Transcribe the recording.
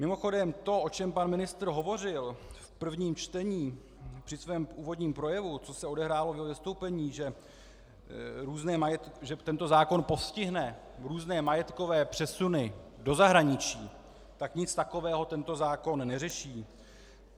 Mimochodem to, o čem pan ministr hovořil v prvním čtení při svém úvodním projevu, co se odehrálo v jeho vystoupení, že tento zákon postihne různé majetkové přesuny do zahraničí, tak nic takového tento zákon neřeší.